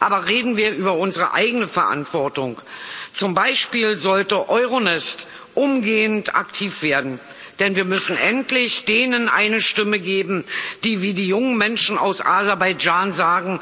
Aber reden wir über unsere eigene Verantwortung Zum Beispiel sollte Euronest umgehend aktiv werden, denn wir müssen endlich denen eine Stimme geben, die wie die jungen Menschen aus Aserbaidschan sagen